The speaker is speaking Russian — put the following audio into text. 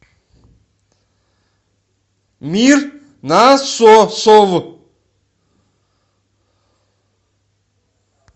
мир насосов